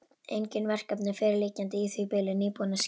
Engin verkefni fyrirliggjandi í því bili, nýbúinn að skila.